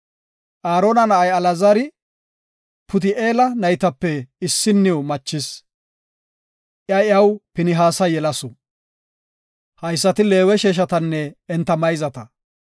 Aarona na7ay Alaazari Puti7eela naytape issinniw machis. Iya iyaw Pinihaasa yelasu. Haysati Leewe sheeshatanne enta mayzata.